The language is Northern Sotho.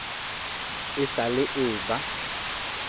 e sa le e eba